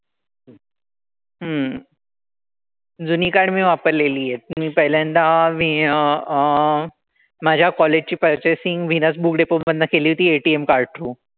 हम्म जुनी card मी वापरलेली आहेत. मी पहिल्यांदा मी अह माझ्या college ची purchasing व्हिनस book depot मधनं केली होती ATM card through.